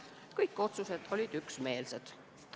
Kõik otsused olid üksmeelsed.